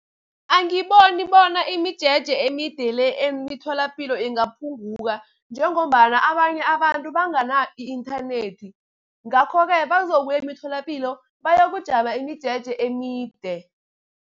Angiboni bona imijeje emide le emitholapilo ingaphunguka, njengombana abanye abantu bangana i-inthanethi. Ngakho-ke bazokuya emitholapilo bayokujama imijeje emide.